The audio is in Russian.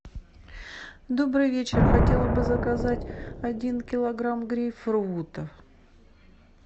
добрый вечер хотела бы заказать один килограмм грейпфрутов